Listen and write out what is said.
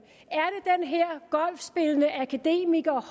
er det den her golfspillende akademiker